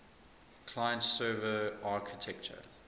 client server architecture